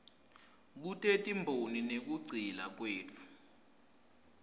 kutetimboni nekugcila kwetfu